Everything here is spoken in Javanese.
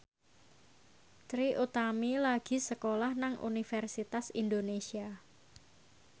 Trie Utami lagi sekolah nang Universitas Indonesia